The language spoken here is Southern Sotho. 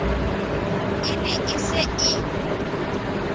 e ne e se e